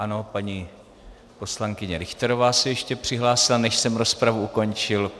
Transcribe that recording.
Ano, paní poslankyně Richterová se ještě přihlásila, než jsem rozpravu ukončil.